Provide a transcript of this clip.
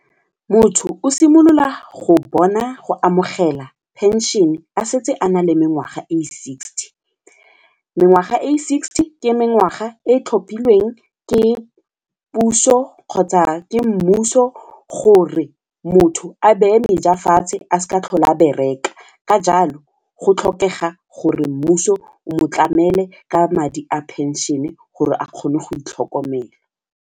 Motho o simolola go bona go amogela pension-e a setse a na le mengwaga e sixty, mengwaga e sixty ke mengwaga e tlhophilweng ke puso kgotsa ke mmuso gore motho a beye meja fatshe a sa tlhole a bereka ka jalo go tlhokega gore mmuso o motlamele ka madi a pension-e gore a kgone go itlhokomela.